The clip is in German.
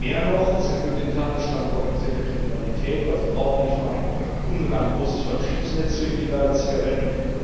Mehr noch, es erfüllt den Tatbestand organisierter Kriminalität. Denn Sie brauchen nicht nur ein ungemein großes Vertriebsnetz für illegale Zigaretten.